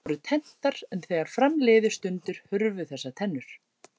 Einstaka tegundir voru tenntar en þegar fram liðu stundir hurfu þessar tennur.